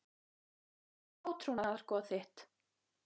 Hvert var átrúnaðargoð þitt?